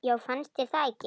Já, fannst þér það ekki?